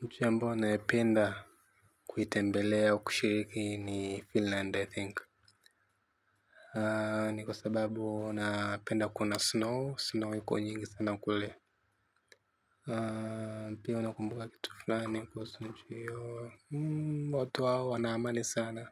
Mchi ambayo naipenda kuitembelea au kushiriki ni finland i think ni kwa sababu napenda kuona snow snow iko nyingi sana kule pia una kumbuka kitu fulani kuhusu nchi hiyo, watu hao wana amani sana.